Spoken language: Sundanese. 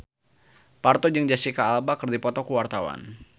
Parto jeung Jesicca Alba keur dipoto ku wartawan